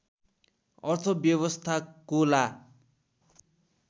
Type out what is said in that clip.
अर्थव्यवस्थाको ला